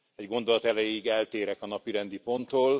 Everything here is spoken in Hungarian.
Egy gondolat erejéig eltérek a napirendi ponttól.